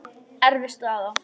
Erfið staða.